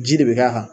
Ji de bɛ k'a kan